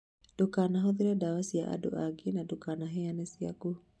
Ndũkanahũthĩra dawa cia andũ ũngĩ na ndũkanaheane ciaku.